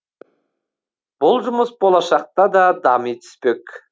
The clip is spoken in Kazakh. бұл жұмыс болашақта да дами түспек